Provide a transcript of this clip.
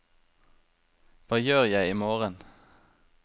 hva gjør jeg imorgen